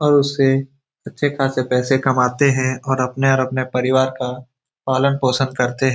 और उससे अच्छे खासे पैसे कमाते हैं और अपने और अपने परिवार का पालन-पोषण करते --